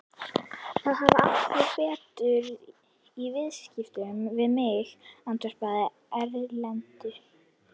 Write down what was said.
Það hafa allir betur í viðskiptum við mig, andvarpaði Erlendur.